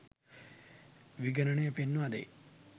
විගණනය පෙන්වා දෙයි